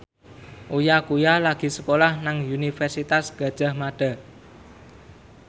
Uya Kuya lagi sekolah nang Universitas Gadjah Mada